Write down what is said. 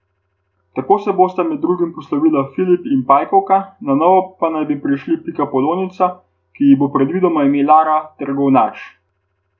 Tako se bosta med drugim poslovila Flip in pajkovka, na novo pa naj bi prišla pikapolonica, ki ji bo predvidoma ime Lara, ter govnač.